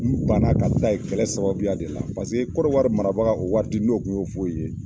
N banna ka taga yen kɛlɛ sababuya de la Kɔnɔwari marabaga o waati n'o kun Ofuwe ye